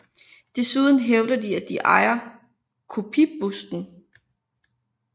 Desuden hævder de at de ejer kopibusten